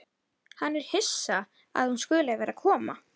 Hann er hissa að hún skuli vera að koma.